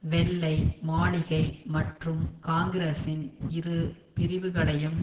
வெள்ளை மாளிகை மற்றும் காங்கிரசின் இரு பிரிவுகளையும்